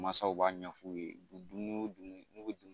Masaw b'a ɲɛfu ye dumuni